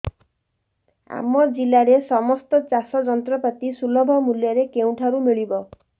ଆମ ଜିଲ୍ଲାରେ ସମସ୍ତ ଚାଷ ଯନ୍ତ୍ରପାତି ସୁଲଭ ମୁଲ୍ଯରେ କେଉଁଠାରୁ ମିଳିବ